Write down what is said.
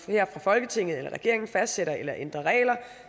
her i folketinget eller regeringen fastsætter eller ændrer regler